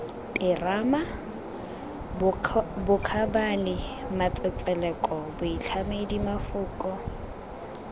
terama bokgabane matsetseleko boitlhamedi mafoko